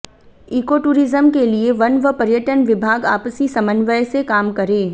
eco tourism के लिए वन व पर्यटन विभाग आपसी समन्वय से काम करें